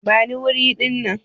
Bani wuri dinnan!